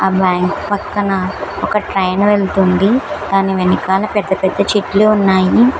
ఆ బ్యాంకు పక్కన ఒక ట్రైన్ వెళుతుంది దాని వెనుకాల పెద్ద పెద్ద చెట్లు ఉన్నాయి.